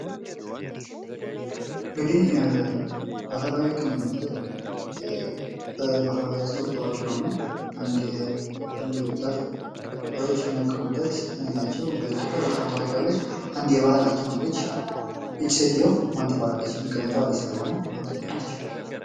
እንግዲህ ባህላዊ ህክምና ማለት በማህበረሰቡ ታዋቂ የሆኑ አንድ የባህል ዶክተር የሚያከሙበት ነው ፤ በኢትዮጵያ በጣም ታዋቂ የሆነች አንዲት የባህል ሐኪም አለች ሴትዮዋ ማን ትባላለች? መቀመጫዋ አዲስ አበባ ነው።